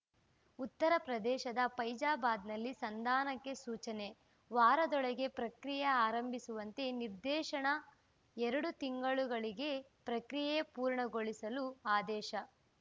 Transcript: ಉತ್ತರ ಪ್ರದೇಶದ ಫೈಜಾಬಾದ್‌ನಲ್ಲಿ ಸಂಧಾನಕ್ಕೆ ಸೂಚನೆ ವಾರದೊಳಗೆ ಪ್ರಕ್ರಿಯೆ ಆರಂಭಿಸುವಂತೆ ನಿರ್ದೇಶನ ಎರಡು ತಿಂಗಳುಗಲ್ಲಿಗೆ ಪ್ರಕ್ರಿಯೆ ಪೂರ್ಣಗೊಳಿಸಲು ಆದೇಶ